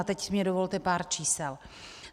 A teď mi dovolte pár čísel.